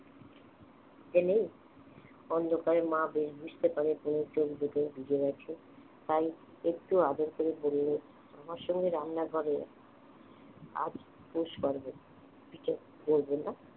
খিদে নেই অন্ধকারে মা বেশ বুঝতে পারে অনু চোখ দুটো ভিজে গেছে তাই একটু আদর করে বললে আমার সঙ্গে রান্নাঘরে আয় আজ তোর শরবত পিঠে করবি না